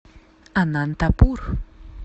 анантапур